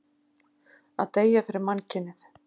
Að deyja fyrir mannkynið.